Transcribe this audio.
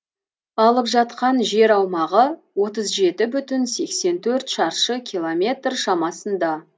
алып жатқан жер аумағы отыз жеті бүтін сексен төрт шаршы километр шамасында